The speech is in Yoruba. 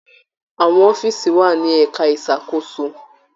Àwọn ọfíisi wà ní ẹka ìṣàkóso.